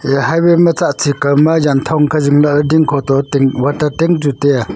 aya highway ma tsa chi kao ma jan thong kha zing lahley ding kho to ting water tank chu tai a.